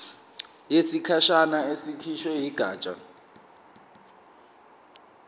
yesikhashana ekhishwe yigatsha